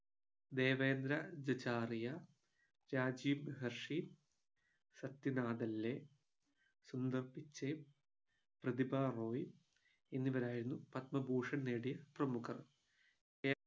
Devendra ജജാരിയാ, Rajeev Hershey, Sathyanath ലെ, സുന്ദർ പിച്ചേ, പ്രതിഭ റോയ് എന്നിവരായിരുന്നു പത്മഭൂഷൺ നേടിയ പ്രമുഖർ